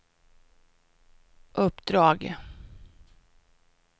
uppdrag